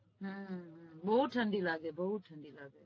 હમ બઉ ઠંડી લાગે બઉ ઠંડી લાગે